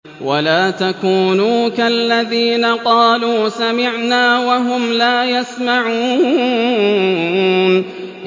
وَلَا تَكُونُوا كَالَّذِينَ قَالُوا سَمِعْنَا وَهُمْ لَا يَسْمَعُونَ